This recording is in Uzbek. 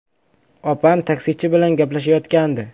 Opam taksichi bilan gaplashayotgandi.